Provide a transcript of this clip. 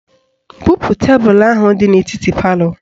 Bupu tebelu ahụ dị n'etiti palọ